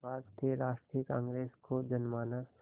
भारतीय राष्ट्रीय कांग्रेस को जनमानस